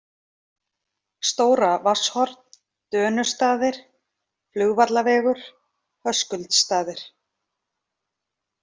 Stóra Vatnshorn, Dönustaðir, Flugvallavegur, Höskuldsstaðir